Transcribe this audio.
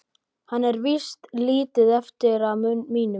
Það er víst lítið eftir af mínum!